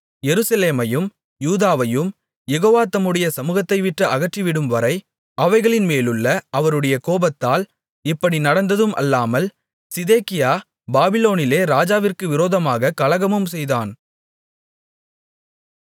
எருசலேமையும் யூதாவையும் யெகோவா தம்முடைய சமுகத்தைவிட்டு அகற்றிவிடும்வரை அவைகளின்மேலுள்ள அவருடைய கோபத்தால் இப்படி நடந்ததும் அல்லாமல் சிதேக்கியா பாபிலோனிலே ராஜாவிற்கு விரோதமாகக் கலகமும் செய்தான்